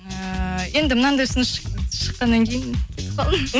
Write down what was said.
ііі енді мынандай ұсыныс шыққаннан кейін кетіп қалдым